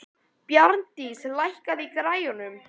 Bjarndís, lækkaðu í græjunum.